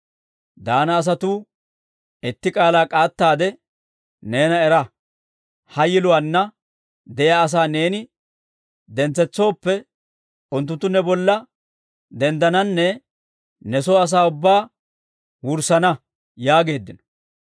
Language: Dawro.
Daana asatuu, «Itti k'aalaa k'aattaade neena era! Ha yiluwaanna de'iyaa asaa neeni dentsetsooppe, unttunttu ne bolla denddananne ne soo asaa ubbaa wurssana» yaageeddino.